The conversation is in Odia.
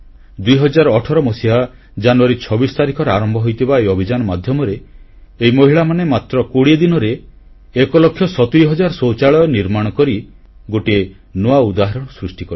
2018 ମସିହା ଜାନୁୟାରୀ 26 ତାରିଖରେ ଆରମ୍ଭ ହୋଇଥିବା ଏହି ଅଭିଯାନ ମାଧ୍ୟମରେ ଏହି ମହିଳାମାନେ ମାତ୍ର 20 ଦିନରେ 1 ଲକ୍ଷ 70 ହଜାର ଶୌଚାଳୟ ନିର୍ମାଣ କରି ଗୋଟିଏ ନୂଆ ଉଦାହରଣ ସୃଷ୍ଟି କଲେ